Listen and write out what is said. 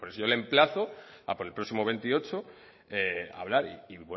yo le emplazo a por el próximo veintiocho hablar y